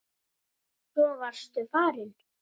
Svo varstu farinn.